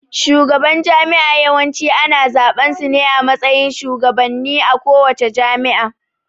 Shugaban jami'a Yawanci ana zaɓan sune a matsayin shugabannen a kowace jami'a